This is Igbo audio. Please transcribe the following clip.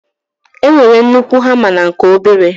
e nwere nnukwu hama na nke obere.